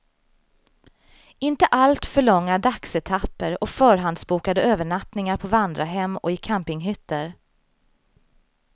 Inte allt för långa dagsetapper och förhandsbokade övernattningar på vandrarhem och i campinghytter.